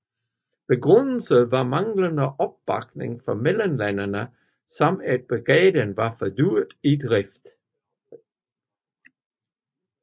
Begrundelsen var manglende opbakning fra medlemslandene samt at brigaden var for dyr i drift